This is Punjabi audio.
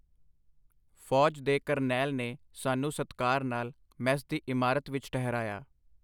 ਫੌਜ ਦੇ ਕਰਨੈਲ ਨੇ ਸਾਨੂੰ ਸਤਿਕਾਰ ਨਾਲ ਮੈਸ ਦੀ ਇਮਾਰਤ ਵਿਚ ਠਹਿਰਾਇਆ.